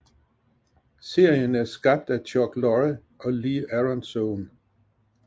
Serien er skabt af Chuck Lorre og Lee Aronsohn